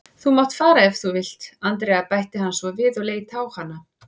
Þú mátt fara ef þú vilt, Andrea bætti hann svo við og leit á hana.